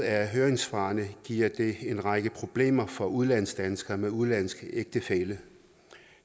af høringssvarene giver det en række problemer for udenlandsdanskere med udenlandsk ægtefælle